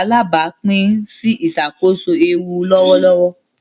alabapin si iṣakoso eewu ni lọwọlọwọ.